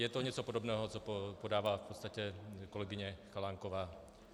Je to něco podobného, co podává v podstatě kolegyně Chalánková.